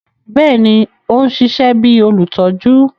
Bẹẹni, o n ṣiṣẹ bi olutọju